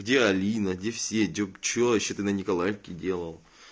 где алина где все где и что ещё ты на николаевке делал